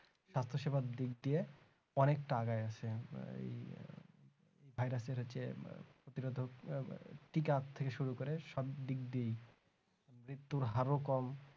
স্বাস্থ্যসেবা দিক দিয়ে অনেকটা আগায় আছে এই ভাইরাসের যে প্রতিরোধক টিকার থেকে শুরু করে সব দিক দিয়ে মৃত্যুর হার কম